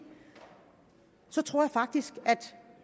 så tror jeg faktisk at